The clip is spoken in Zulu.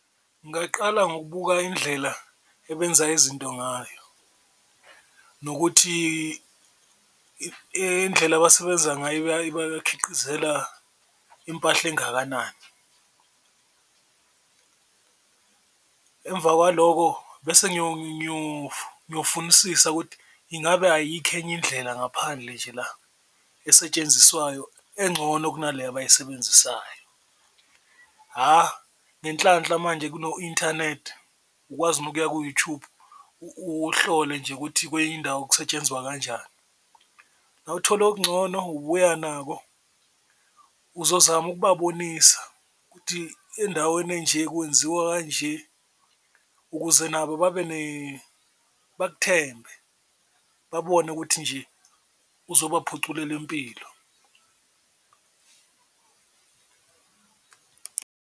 Ngaqala ngokubuka indlela ebenza izinto ngayo nokuthi indlela abasebenza ngayo impahla engakanani emva kwaloko bese ngiyofunisisa ukuthi ingabe ayikho enye indlela ngaphandle nje la esetshenziswayo encono kunale abayisebenzisayo. Hha, ngenhlanhla manje kuno-inthanethi, ukwazi nokuya ku-YouTube uhlole nje ukuthi kwenye indawo kusetshenzwa kanjani, nawuthola okungcono ubuya nako uzozama ukubabonisa ukuthi endaweni enje kwenziwa kanje, ukuze nabo bakuthembe babone ukuthi nje uzobaphuculela impilo.